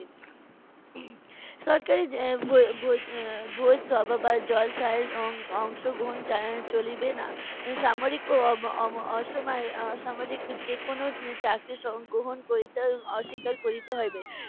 সরকারী যে এর ভো~ ভোজ~ এর ভোজসভা বা জলসায় অং~ অংশগ্রহণ চ~ চলিবে না। সামরিক ও অব~ অম~ অসম~ অসামরিক যেকোনো চাকরি গ্রহণ করিতে অস্বীকার করিতে হইবে।